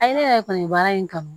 A ye ne yɛrɛ kɔni baara in kanu